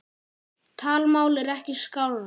Talmál er ekki skárra.